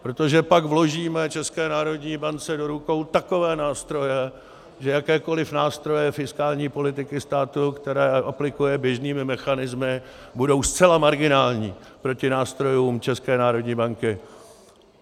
Protože pak vložíme České národní bance do rukou takové nástroje, že jakékoliv nástroje fiskální politiky státu, které aplikuje běžnými mechanismy, budou zcela marginální proti nástrojům České národní banky.